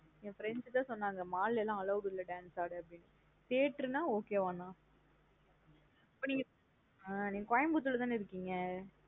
என் friends தான் சொன்னாங்கா mall லாம் allowed இல்ல dance ஆட. Theatre நா okay வா நா. இப்ப நீங்க ஆஹ் Coimbatore லா தானா இருக்கீங்க?